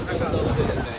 Yaxşıdır.